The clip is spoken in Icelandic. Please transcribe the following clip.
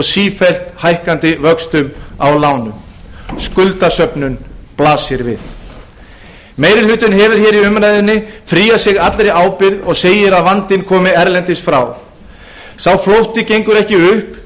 sífellt hækkandi vöxtum á verðtryggðum lánum meiri hlutinn hefur nú fríað sig allri ábyrgð og segir að vandinn komi erlendis frá sú fullyrðing gengur ekki upp